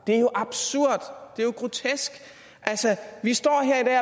det er jo absurd det er grotesk vi står